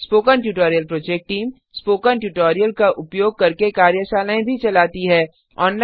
spoken tutorial project team spoken tutorial का उपयोग करके कार्यशालाएँ भी चलाती है